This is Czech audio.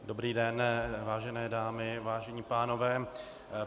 Dobrý den, vážené dámy, vážení pánové.